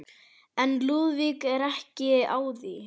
En Lúðvík var ekki á því.